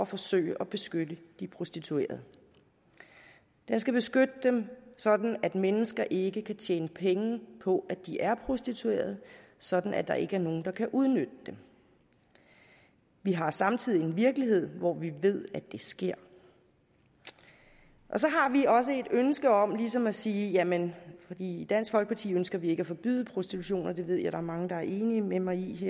forsøge at beskytte de prostituerede den skal beskytte dem sådan at andre mennesker ikke kan tjene penge på at de er prostituerede sådan at der ikke er nogen der kan udnytte dem vi har samtidig en virkelighed hvor vi ved at det sker og så har vi også et ønske om ligesom at sige jamen i dansk folkeparti ønsker vi ikke at forbyde prostitution og det ved jeg der er mange der er enige med mig i